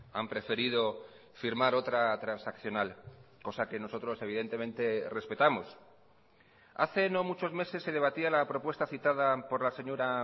han preferido firmar otra transaccional cosa que nosotros evidentemente respetamos hace no muchos meses se debatía la propuesta citada por la señora